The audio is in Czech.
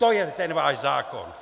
To je ten váš zákon!